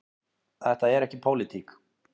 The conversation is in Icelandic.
Þetta er ekki pólitík.